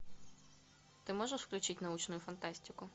ты можешь включить научную фантастику